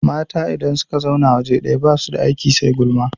Mata idan suka zauna waje ɗaya basu da aiki sai gulma